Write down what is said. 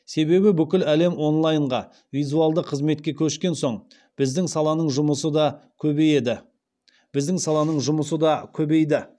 себебі бүкіл әлем онлайнға визуалды қызметке көшкен соң біздің саланың жұмысы да көбейді